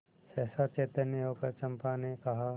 सहसा चैतन्य होकर चंपा ने कहा